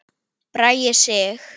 Bragi Sig.